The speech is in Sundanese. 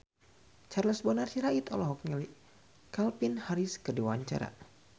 Charles Bonar Sirait olohok ningali Calvin Harris keur diwawancara